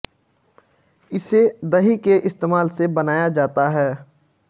इसे दही के इस्तेमाल से बनाया जाता है